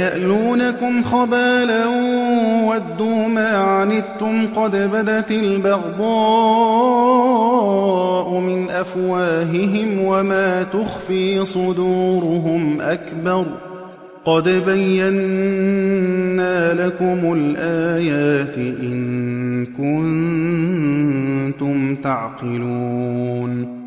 يَأْلُونَكُمْ خَبَالًا وَدُّوا مَا عَنِتُّمْ قَدْ بَدَتِ الْبَغْضَاءُ مِنْ أَفْوَاهِهِمْ وَمَا تُخْفِي صُدُورُهُمْ أَكْبَرُ ۚ قَدْ بَيَّنَّا لَكُمُ الْآيَاتِ ۖ إِن كُنتُمْ تَعْقِلُونَ